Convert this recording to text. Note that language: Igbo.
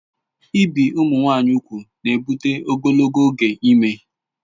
Ibi ụmụ nwanyị ùgwù na-ebụte ogologo oge ime